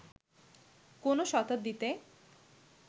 কোন শতাব্দীতে